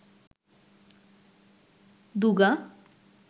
দুগা